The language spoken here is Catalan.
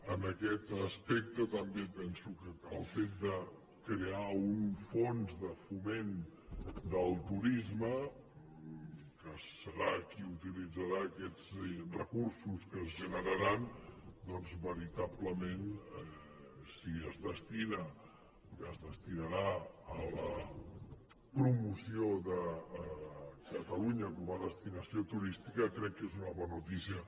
en aquest aspecte també penso que el fet de crear un fons de foment del turisme que serà qui utilitzarà aquests recursos que es generaran doncs veritablement si es destina que s’hi destinarà a la promoció de catalunya com a destinació turística crec que és una bona notícia